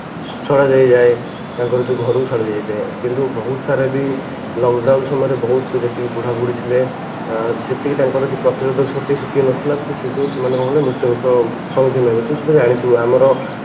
ଛଡାହେଇଯାଏ ତାଙ୍କର ଘରକୁ ଯୋଉ ଛଡା ହେଇଯାଏ କିନ୍ତୁ ବହୁତ ସାରା ବି lock down ସମୟରେ ବହୁତ ଯେତିକି ବୁଢା ବୁଢ଼ୀ ଥିଲେ ସେତିକି ତାଙ୍କର ପ୍ରତିରୋଧକ ଶକ୍ତି ସେତିକି ନଥିଲା ତ ସେଇ ଯୋଗୁ ସେଇ ମାନେ କଣ କଲେ ମୃତ୍ୟୁ ମୁଖରେ ସମୁଖୀନ ହେବେ ତ ସେଇ ତ ଜାଣିଥିବୁ ଆମର